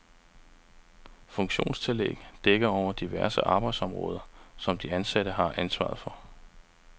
Funktionstillæg dækker over diverse arbejdsområder, som de ansatte har ansvaret for.